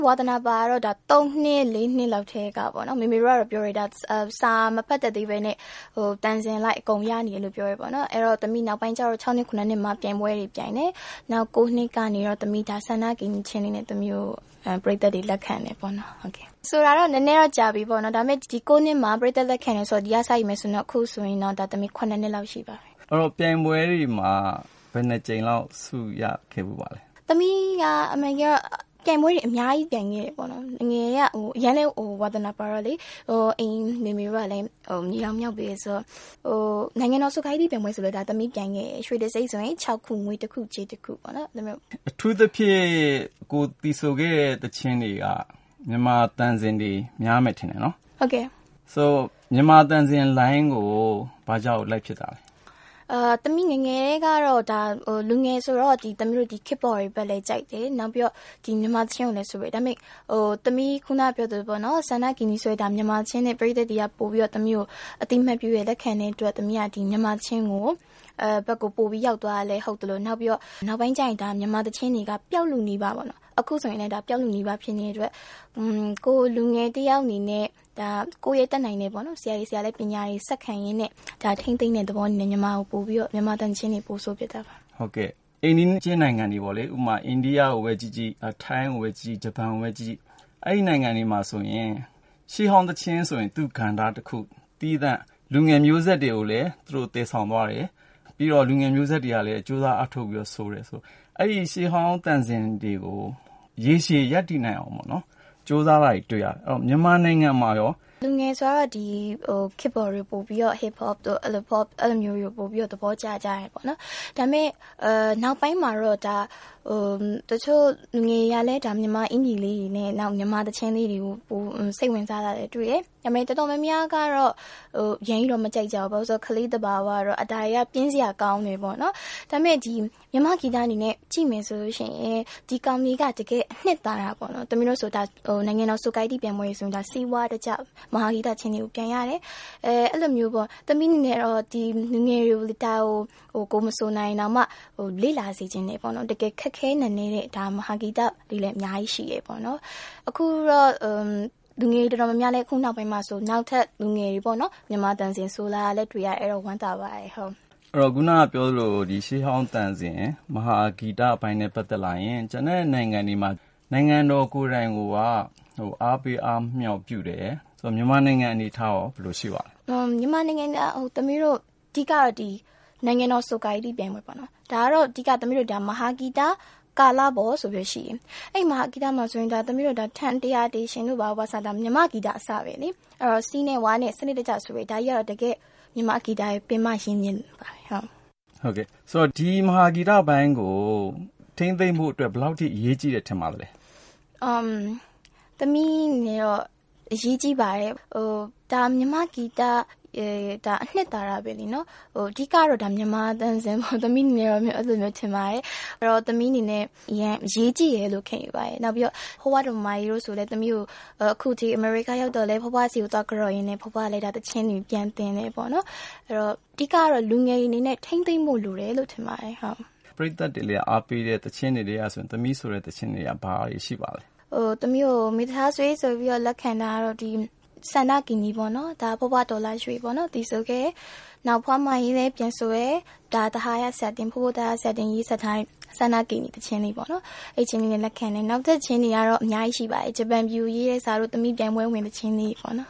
ဝါသနာပါတာကတော့ ၃ နှစ် ၄ နှစ်လောက်ကတည်းကပေါ့နော်။ မေမေတို့ကတော့ ပြောတယ် စာမဖတ်တတ်သေးပဲနဲ့ သံစဉ်အလိုက်အကုန်ရနေတယ်လို့ပြောတယ်။ နောက်ပိုင်း ၆ နှစ် ၇ နှစ်မှာ ပြိုင်ပွဲတွေ ပြိုင်တယ်။ နောက် ၉ နှစ်ကနေပြီးတာ့ “စန္ဒကိန္နရီ” သီချင်းနဲ့ ပရိတ်သတ်တွေ လက်ခံတယ်ပေါ့နော်။ ဆိုတာကတော့ နည်းနည်းကြာပြီ ဒီ ၉ နှစ်မှာ ပရိတ်သတ်လက်ခံတာကနေ အခုဆိုရင် ၇ နှစ်လောက်ရှိပါပြီ။ ကိုဉာဏ်ဝင်းအောင်။ ။ အဲဒီတော့ ပြိုင်ပွဲတွေမှာ ဘယ်နှစ်ကြိမ်လောက် ဆုရခဲ့ဖူးပါသလဲ။ မမေသက်ထားဆွေ။ ။ သမီးက အမှန်တကယ်တော့ ပြိုင်ပွဲတွေ အများကြီး ပြိုင်ခဲ့တယ်ပေါ့နော်။ ငယ်ငယ်တုန်းက အရမ်းဝါသနာပါတော့ အမေတို့ကလည်း မြေတောင်မြောက်ပေးတယ်ဆိုတော့ နိုင်ငံတော် ဆို-က-ရေး-တီးပြိုင်ပွဲတွေလည်းပြိုင်ခဲ့တယ် ရွှေတံဆိပ် ၆ ခု၊ ငွေ ၁ ခု၊ ကြေး ၁ ခု ပေါ့နော်။ ကိုဉာဏ်ဝင်းအောင်။ ။ အထူးသဖြင့် ကိုယ်သီဆိုခဲ့တဲ့ သီချင်းတွေက မြန်မာသံစဉ်တွေ များမယ်ထင်တယ်နော်။ မမေသက်ထားဆွေ။ ။ ဟုတ်ကဲ့။ ကိုဉာဏ်ဝင်းအောင်။ ။ ဆိုတော့ မြန်မာသံစဉ်လိုင်းကို ဘာကြောင့်လိုက်ဖြစ်တာလဲ။ မမေသက်ထားဆွေ။ ။ သမီးငယ်ငယ်တုန်းကတော့ လူငယ်ဆိုတော့ ခေတ်ပေါ်လိုင်းကိုလည်း ကြိုက်တယ် နောက်ပြီးတော့ မြန်မာသီချင်းကိုလည်း ဆိုတယ်။ ဒါပေမယ့် “စန္ဒကိန္နရီ” သီချင်းနဲ့ ပရိတ်သတ်တွေက အသိအမှတ်ပြုတယ် လက်ခံတဲ့အတွက် သမီး မြန်မာသီချင်းဘက်ကို ပိုပြီးရောက်သွားတာလည်း ဟုတ်သလို၊ နောက်ပိုင်းကျရင် မြန်မာသီချင်းတွေကလည်း အခုဆိုရင်လည်း ပျောက်လုနီးပါး ဖြစ်နေတဲ့အတွက် ကိုယ်လူငယ်တယောက်အနေနဲ့ ကိုယ်တတ်နိုင်တာနဲ့ ဆရာတွေဆီကလည်း ပညာတွေ ဆက်ခံရင်းနဲ့ ထိန်းသိမ်းတဲ့သဘောအနေနဲ့ မြန်မာသီချင်းတွေကို ပိုဆိုဖြစ်တာပါ။ ကိုဉာဏ်ဝင်းအောင်။ ။ အိမ်နီးချင်းနိုင်ငံတွေပေါ့လေ အိန္ဒိယကိုပဲ ကြည့်ကြည့်၊ ထိုင်းကိုပဲ ကြည့်ကြည့် ဂျပန်ကိုပဲ ကြည့်ကြည့် အဲဒီနိုင်ငံတွေမှာ ရှေးဟောင်းသီချင်းဆိုရင် သူ့ကဏ္ဍသီးသန့် လူငယ်မျိုးဆက်တွေကို သယ်ဆောင်သွားတယ် လူငယ်မျိုးဆက်တွေကလည်း ကြိုးစားအားထုတ်ပြီးတော့ဆိုတယ်ဆိုတော့ အဲဒီ ရှေးဟောင်းသံစဉ်တွေကို ရေရှည်ရပ်တည်နိုင်အောင်ကြိုးစားတာတွေ တွေ့ရတယ် မြန်မာနိုင်ငံမှာရော ဘယ်လိုရှိပါသလဲ။ မမေသက်ထားဆွေ။ ။ လူငယ်ဆိုတော့ ခေတ်ပေါ် Hip Hop တို့ အဲလိုမျိုးတွေကို ပိုပြီးတော့ သဘောကျတယ်ပေါ့နော်။ နောက်ပိုင်းမှာတော့ တချို့လူငယ်တွေကလည်း မြန်မာသီချင်းလေးတွေကို ပိုပြီးစိတ်ဝင်စားလာတာကို တွေ့တယ်။ ဒါပေမယ့် တော်တော်များများကတော့ အရမ်းမကြိုက်ကြဘူ။း ဘာဖြစ်လို့လဲဆိုတော့ ကလေးသဘာဝအရကတော့ ဒါတွေက ပြင်းစရာကောင်းတယ်ပေါ့နော်။ ဒါပေမယ့် မြန်မာ့ဂီတအနေနဲ့ ကြည့်မယ်ဆိုရင် ဒါက တကယ့်ကို အနှစ်သာရပေါ့နော် ။ သမီးတို့ဆိုရင် နိုင်ငံတော် ဆို-က-ရေး-တီးပြိုင်ပွဲတွေမှာ စည်းဝါးတကျ မဟာဂီတသီချင်းတွေကို ပြိုင်ရတယ်၊ သမီးအနေနဲ့တော့ လူငယ်တွေကို ကိုယ်မဆို နိုင်ရင်တောင်မှ လေ့လာစေချင်တယ်ပေါ့နော်။ တကယ်ခက်ခဲနက်နဲတဲ့ မဟာဂီတတွေလည်း အများကြီးရှိတယ်။ လူငယ်တွေ တော်တေ်ာများများလည်း အခုနောက်ပိုင်းမှာ နောက်ထပ် လူငယ်တွေ မြန်မာသံစဉ်တွေ ဆိုလာတာလည်း တွေ့ရတယ် အဲဒါကို ဝမ်းသာပါတယ်။ ကိုဉာဏ်ဝင်းအောင်။ ။ ခုနကပြောသလို ရှေးဟောင်းသံစဉ် မဟာဂီတအပိုင်းနဲ့ ပတ်သက်လာရင် ကျန်တဲ့နိုင်ငံမှာ နိုင်ငံတော် ကိုယ်တိုင်က အားပေးအားမြောက်ပြုတယ်။ မြန်မာနိုင်ငံအနေအထားရော ဘယ်လိုရှိပါသလဲ။ မမေသက်ထားဆွေ။ ။ မြန်မာနိုင်ငံက အဓိကတော့ နိုင်ငံတော် ဆို-က-ရေး-တီးပြိုင်ပွဲပေါ့နော်၊ အဲဒါကတော့ မဟာဂီတ ကာလပေါ် ဆိုပြီးတော့ရှိတယ်။ အဲဒီမဟာဂီတမှာဆိုရင် သမီးတို့ ထန်-တရာ-တေရှင် တို့ဘာတို့ဆိုတာ ဒါမြန်မာ့ဂီတအစပဲလေ။ စည်းနဲ့ဝါးနဲ့ စနစ်တကျဆိုတယ် ဒါကတော့ မြန်မာ့ဂီတရဲ့ ပင်မရင်းမြစ်တွေပါပဲ။ ကိုဉာဏ်ဝင်းအောင်။ ။ ဟုတ်ကဲ့ ဒီမဟာဂီတပိုင်းကို ထိန်းသိမ်းဖို့အတွက် ဘယ်လောက်အထိ အရေးကြီးတယ်ထင်ပါသလဲ။ မမေသက်ထားဆွေ။ ။ သမီးအနေနဲ့တော့ ဒါအရေးကြီးပါတယ် မြန်မာ့ဂီတရဲ့ အနှစ်သာရပဲလေ။ အဓိကတော့ မြန်မာသံစဉ် ပေါ့နော်။ သမီးအနေနဲ့ အရေးကြီးတယ်လို့ ခံယူပါတယ်။ ဖွားဖွားဒေါ်မာမာအေးဆိုရင်လည်း သမီး အမေရိက ရောက်တဲ့အထိ သွားကန်တော့ရင်းနဲ့ ဖွားဖွားက သီချင်းတွေ ပြန်သင်တယ်ပေါ့နော်။ အဓိကတော့ လူငယ်တွေအနေနဲ့ ထိန်းသိမ်းဖို့လိုတယ်လို့ ထင်ပါတယ်။ ကိုဉာဏ်ဝင်းအောင်။ ။ ပရိတ်သက်တွေအားပေးတဲ့ သီချင်းတွေထဲက ဆိုတာ ဘာတွေရှိပါသလဲ။ မမေသက်ထားဆွေ။ ။ သမီးကို မေသက်ထားဆွေဆိုပြီးတော့ လက်ခံတာကတော့ စန္ဒကိန္နရီ ပေါ့နော်။ ဒါက ဖွားဖွားဒေါ်လှရွှေ သီဆိုခဲ့တယ်။ နောက် ဖွားဖွား မာမာအေးလည်း ပြန်ဆိုတယ်။ ဒါ သဟာယ ဆရာတင်- ဖိုးဖိုး သဟာယ ဆရာတင် ရေးစပ်ထားတဲ့ စန္ဒကိန္နရီ သီချင်းလေးပေါ့။ နောက်သီချင်းတွေလည်း အများကြီးရှိပါတယ် ။ ဂျပန်ပြည်ကို ရေးတဲ့စာတို့ အဲလို ပြိုင်ပွဲဝင် သီချင်းလေးတွေပေါ့နော်